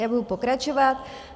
Já budu pokračovat.